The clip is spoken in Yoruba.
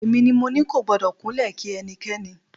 Èmi ni mo ní kò gbọ́dọ̀ kúnlẹ̀ kí ẹnikẹ́ni.